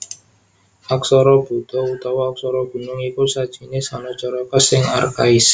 Aksara Buda utawa Aksara Gunung iku sajinis Hanacaraka sing arkhais